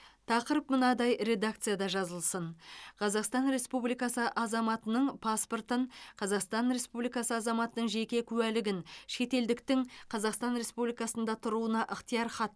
тақырып мынадай редакцияда жазылсын қазақстан республикасы азаматының паспортын қазақстан республикасы азаматының жеке куәлігін шетелдіктің қазақстан республикасында тұруына ықтиярхатты